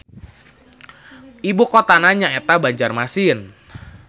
Ibu kotana nyaeta Banjarmasin.